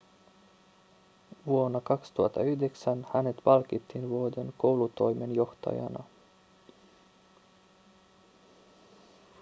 vuonna 2009 hänet palkittiin vuoden koulutoimenjohtajana